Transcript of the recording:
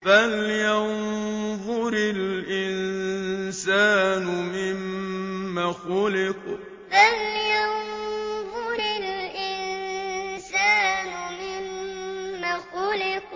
فَلْيَنظُرِ الْإِنسَانُ مِمَّ خُلِقَ فَلْيَنظُرِ الْإِنسَانُ مِمَّ خُلِقَ